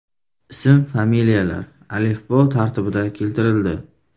Ism-familiyalar alifbo tartibida keltirildi.